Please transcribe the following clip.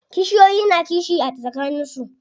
Kishiyoyi na kishi a tsakanin su.